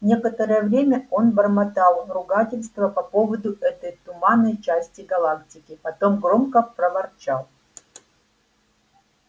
некоторое время он бормотал ругательства по поводу этой туманной части галактики потом громко проворчал